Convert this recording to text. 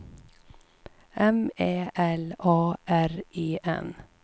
M Ä L A R E N